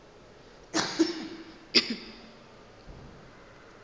di be di šetše di